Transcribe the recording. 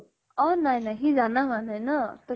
অʼ । নাই নাই সি জানা হোৱা নাই ন । তʼ